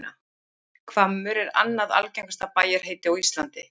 Hvammur er annað algengasta bæjarheiti á Íslandi.